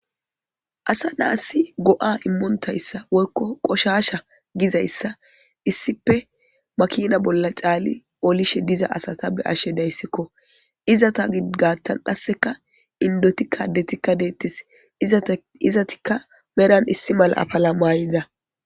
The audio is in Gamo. Asa nasi go''a imo taysa woyko qoshasha gizaysa issippe makina bolla cani olishw diza asata beyashe daysko, izeta gatan qaseka indotika adetika detes, izetika meran issi mala apala mayida